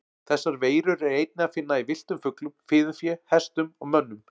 Þessar veirur er einnig að finna í villtum fuglum, fiðurfé, hestum og mönnum.